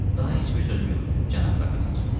Daha heç bir sözüm yoxdur, cənab professor.